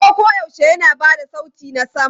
Kaho koyaushe yana ba da sauti na sama.